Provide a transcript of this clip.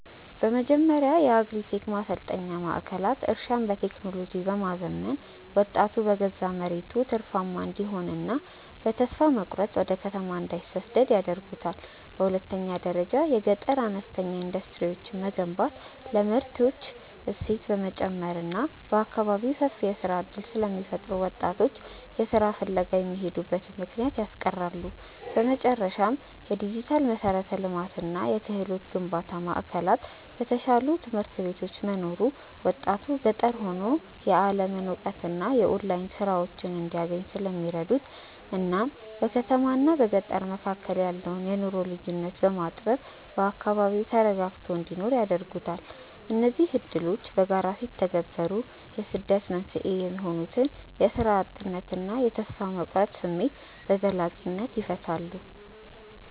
በመጀመሪያ የአግሪ-ቴክ ማሰልጠኛ ማዕከላት እርሻን በቴክኖሎጂ በማዘመን ወጣቱ በገዛ መሬቱ ትርፋማ እንዲሆንና በተስፋ መቁረጥ ወደ ከተማ እንዳይሰደድ ያደርጉታል። በሁለተኛ ደረጃ የገጠር አነስተኛ ኢንዱስትሪዎችን መገንባት ለምርቶች እሴት በመጨመር በአካባቢው ሰፊ የሥራ ዕድል ስለሚፈጥሩ ወጣቶች ለሥራ ፍለጋ የሚሄዱበትን ምክንያት ያስቀራሉ። በመጨረሻም፣ የዲጂታል መሠረተ ልማትና የክህሎት ግንባታ ማዕከላት በተሻሉ ትምህርት ቤቶች መኖሩ ወጣቱ ገጠር ሆኖ የዓለምን እውቀትና የኦንላይን ሥራዎችን እንዲያገኝ ስለሚረዱት እናም በከተማና በገጠር መካከል ያለውን የኑሮ ልዩነት በማጥበብ በአካባቢው ተረጋግቶ እንዲኖር ያደርጉታል። እነዚህ ዕድሎች በጋራ ሲተገበሩ የስደት መንስኤ የሆኑትን የሥራ እጥነትና የተስፋ መቁረጥ ስሜት በዘላቂነት ይፈታሉ።